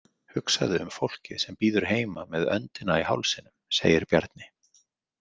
Hugsaðu um fólkið sem bíður heima með öndina í hálsinum, segir Bjarni.